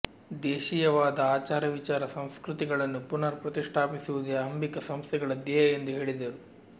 ದೇಶೀಯವಾದ ಆಚಾರ ವಿಚಾರ ಸಂಸ್ಕೃತಿಗಳನ್ನು ಪುನರ್ ಪ್ರತಿಷ್ಟಾಪಿಸುವುದೇ ಅಂಬಿಕಾ ಸಂಸ್ಥೆಗಳ ಧ್ಯೇಯ ಎಂದು ಹೇಳಿದರು